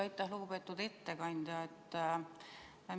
Aitäh, lugupeetud ettekandja!